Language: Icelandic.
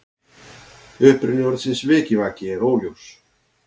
Uppruni orðsins vikivaki er óljós.